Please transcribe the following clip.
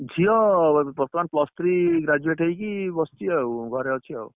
ଝିଅ ବର୍ତମାନ plus three graduate ହେଇକି ବସିଛି ଆଉ ଘରେ ଅଛି ଆଉ